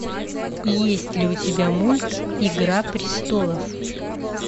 есть ли у тебя мульт игра престолов